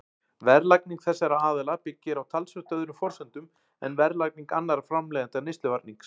Verðlagning þessara aðila byggir á talsvert öðrum forsendum en verðlagning annarra framleiðenda neysluvarnings.